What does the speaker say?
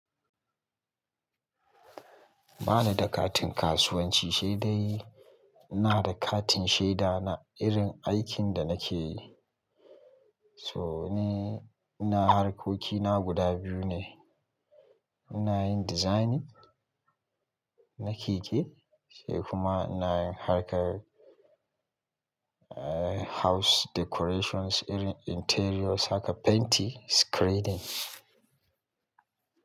Ba ni da katin kasuwanci sai dai ina da katin shaida na irin aikin da nake yi. So ni, ina harkoki na guda biyu ne. Ina yin designing na keke sai kuma ina yin harkar, eh house decorations irin interior saka paint screeding.